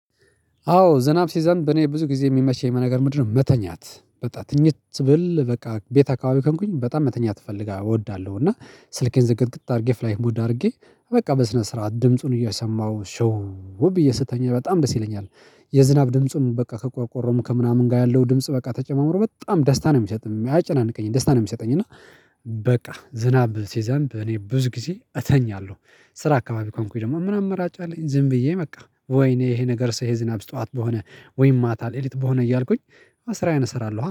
አዎ ዝናብ ሲዘንብ እኔ ብዙ ጊዜ ሚመች ነገር ምንድነው? መተኛት በቃ ትኝት ብል በቃ ቤት አካባቢ ከሆንኩኝ በጣም መተኛት እፈልጋ እወዳለው እና ስልኬን ዝግትግ አርጌ ፍላይህት ሙድ አርጌ በቃ በስነ ስርዓት ድምጹን እየሰማው ሾው ብዬ ስተኛ በጣም ደስ ይለኛል። የዝናብ ድምጹን በቃ ከቆርቆሮም ከምናምን ጋ ያለው ድምጽ በቃ ተጨማምሮ በጣም ደስታ ነው ሚሰጥም አያጨናንቀኝም ደስታ ነው ሚሰጠኝ። እና በቃ ዝናብ ሲዘንብ እኔ ብዙ ጊዜ እተኛለው። ስራ አካባቢ ከሆንኩኝ ደሞ ምናምን አማራጫ አለኝ ዝም ብዬ በቃ ወይኔ ይሄ ነገርስ ይሄ ዝናብስ ጠዋት በሆነ ወይም ማታ ሌሊት በሆነ እያልኩኝ ስራዬን እሰራለኃ